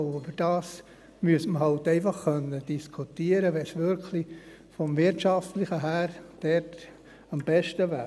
Darüber müsste man halt einfach diskutieren können, wenn es vom Wirtschaftlichen her wirklich am besten wäre.